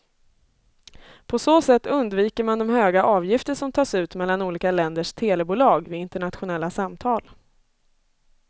På så sätt undviker man de höga avgifter som tas ut mellan olika länders telebolag vid internationella samtal.